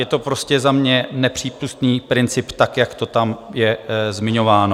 Je to prostě za mě nepřípustný princip tak, jak to tam je zmiňováno.